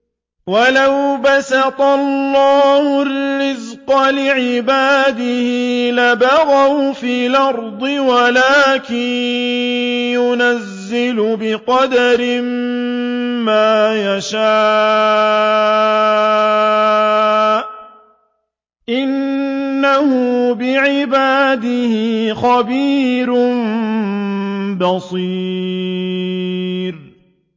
۞ وَلَوْ بَسَطَ اللَّهُ الرِّزْقَ لِعِبَادِهِ لَبَغَوْا فِي الْأَرْضِ وَلَٰكِن يُنَزِّلُ بِقَدَرٍ مَّا يَشَاءُ ۚ إِنَّهُ بِعِبَادِهِ خَبِيرٌ بَصِيرٌ